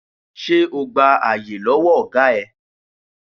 Ṣé o gba àyè lọ́wọ́ ọ̀gá ẹ?